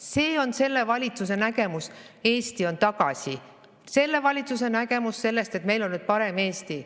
See on selle valitsuse nägemus, et Eesti on tagasi, selle valitsuse nägemus sellest, et meil on nüüd parem Eesti.